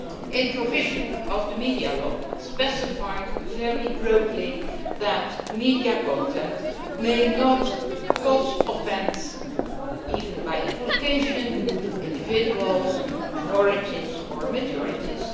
A provision of the media law specified very broadly that media content may not cause offence, even by implication, to individuals, minorities or majorities.